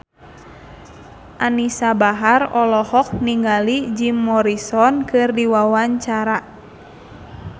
Anisa Bahar olohok ningali Jim Morrison keur diwawancara